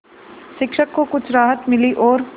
शिक्षक को कुछ राहत मिली और